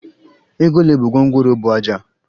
Ego ole bu gwongworo buu ájá?